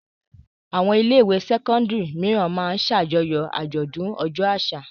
Àwọn ilé-ìwé sẹ́kọ́ndárì mìíràn máa ń ṣàjọyọ̀ àjọ̀dún ọjọ́ àṣà.